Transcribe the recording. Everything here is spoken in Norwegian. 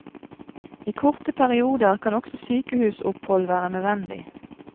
I korte perioder kan også sykehusopphold være nødvendig.